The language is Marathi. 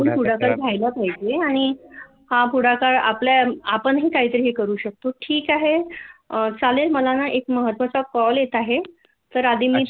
पुढाकार घ्यायला पाहिजे आणि हा पुढाकार आपणही काहीतरी करू शकतो ठिक आहे चालेल मला ना एक महत्त्वाचा कॉल येत आहे